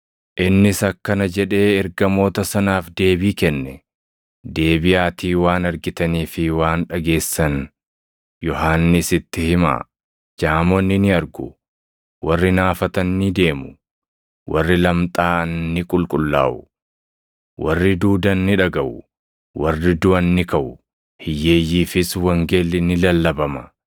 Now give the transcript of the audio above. Innis akkana jedhee ergamoota sanaaf deebii kenne; “Deebiʼaatii waan argitanii fi waan dhageessan Yohannisitti himaa; jaamonni ni argu; warri naafatan ni deemu; warri lamxaaʼan ni qulqullaaʼu; warri duudan ni dhagaʼu; warri duʼan ni kaʼu; hiyyeeyyiifis wangeelli ni lallabama.